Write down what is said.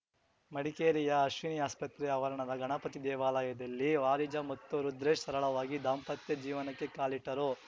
ಮಡಿಕೇರಿಯ ಅಶ್ವಿನಿ ಆಸ್ಪತ್ರೆ ಆವರಣದ ಗಣಪತಿ ದೇವಾಲಯದಲ್ಲಿ ವಾರಿಜಾ ಮತ್ತು ರುದ್ರೇಶ್‌ ಸರಳವಾಗಿ ದಾಂಪತ್ಯ ಜೀವನಕ್ಕೆ ಕಾಲಿಟ್ಟರು